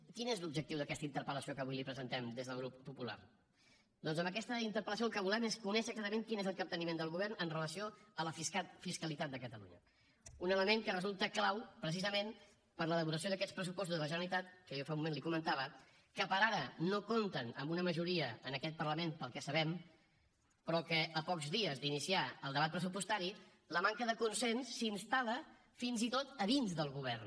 quin és l’objectiu d’aquesta interpel·lació que avui li presentem des del grup popular doncs amb aquesta interpel·lació el que volem és conèixer exactament quin és el capteniment del govern amb relació a la fiscalitat de catalunya un element que resulta clau precisament per a l’elaboració d’aquests pressupostos de la generalitat que jo fa un moment li comentava que per ara no compten amb una majoria en aquest parlament pel que sabem però que a pocs dies d’iniciar el debat pressupostari la manca de consens s’instal·la fins i tot a dins del govern